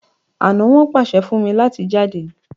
ana won pase fún mí láti jáde.